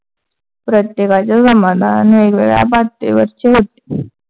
प्रत्येकाचे समाधान वेगळयावेगळ्या पातळीवरचे होते.